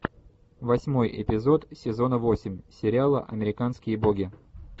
восьмой эпизод сезона восемь сериала американские боги